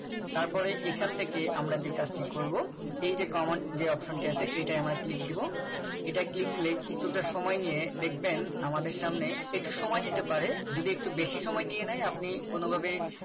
তারপরে এখান থেকে আমরা যে কাজটি করব এই যে আমার যে Common যে Option টি আছে এটাই আমরা click দেব এটাই click দিলে কিছুটা সময় নিয়ে দেখবেন আমাদের সামনে একটু সময় নিতে পারে। যদি একটু বেশি সময় নিয়ে নেয় আপনি কোন ভাবে